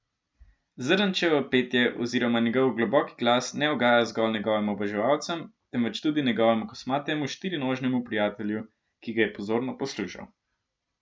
Zrnečevo petje oziroma njegov globoki glas ne ugaja zgolj njegovim oboževalcem, temveč tudi njegovemu kosmatemu štirinožnemu prijatelju, ki ga je pozorno poslušal.